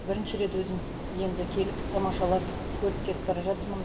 бірінші рет өзім енді келіп тамашалап көріп кетіп бара жатырмын